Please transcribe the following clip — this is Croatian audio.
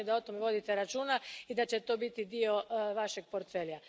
Drago mi je da o tome vodite računa i da će to biti dio Vašeg portfelja.